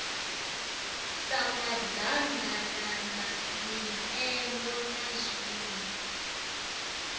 sa maḓaganana mipengo na zwiṋwe